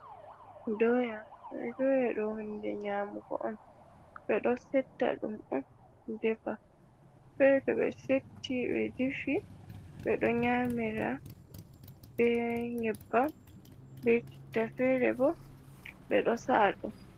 Doya ɗo hunde nyamugo on ɓeɗo setta ɗum on defa fere to ɓe setti ɓe diffi ɓeɗo nyamira be nyebbam be chitta fere bo ɓeɗo sa’a ɗum.